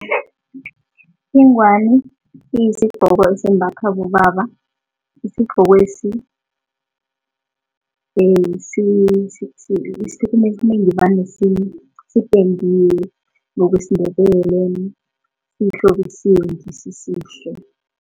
Ingwani iyisigcoko esimbathwa bobaba, isigcokwesi esikhathini esinengi vane sipendiwe ngokwesiNdebele sihlobisiswe sisihle.